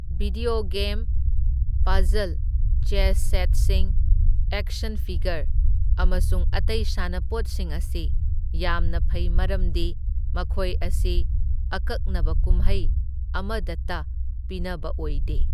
Video game, puzzle, chess ꯁꯦꯠꯁꯤꯡ, action figure ꯑꯃꯁꯨꯡ ꯑꯇꯩ ꯁꯥꯟꯅꯄꯣꯠꯁꯤꯡ ꯑꯁꯤ ꯌꯥꯝꯅ ꯐꯩ ꯃꯔꯝꯗꯤ ꯃꯈꯣꯏ ꯑꯁꯤ ꯑꯀꯛꯅꯕ ꯀꯨꯝꯍꯩ ꯑꯃꯗꯇ ꯄꯤꯅꯕ ꯑꯣꯏꯗꯦ꯫